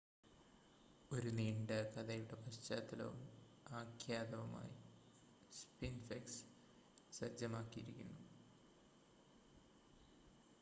ഒരു നീണ്ട കഥയുടെ പശ്ചാത്തലവും ആഖ്യാതാവുമായി സ്ഫിൻക്സ് സജ്ജമാക്കിയിരിക്കുന്നു